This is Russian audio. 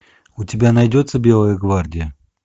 у тебя найдется белая гвардия